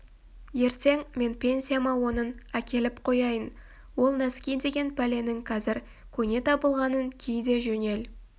ертең мен пенсияма онын әкеліп қояйын ол нәски деген пәленің қазір көне табылғанын ки де жөнел